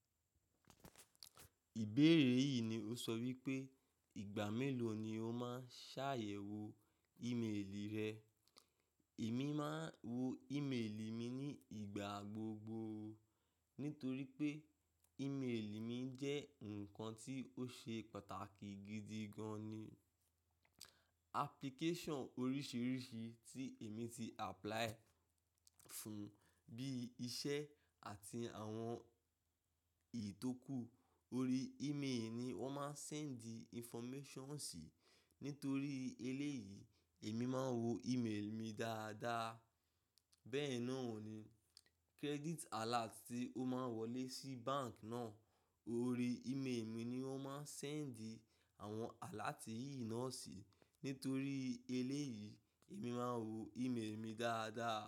Ìbéèrè yìí ni o sọ wípé ìgbà mélòó ni o máa ń ṣàyẹ̀wò e-mail rẹ. Èmi máa ń wo e-mail mi ní ìgbà gbogbo, nítorí pé e-mail mi jẹ́ ǹkan tí ó ṣe pàtàkì gidi gan ni. Application oríṣiríṣi tí èmi ti apply fún bí iṣẹ́ àti àwọn ìtókù, orí e-mail ni wón máa ń send the information sí. Nítorí eléyìí, èmi máa ń wo e-mail mi dáadáa. Bẹ́ẹ̀ náà ni credit alert tí ó máa ń wọlé sí bank náà, orí e-mail mi ni wón máa ń send àwọn alert yìí náà sí. Nítorí eléyìí, èmi máa ń wo e-mail mi dáadáa.